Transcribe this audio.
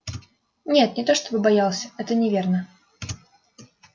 нет не то чтобы боялся это неверно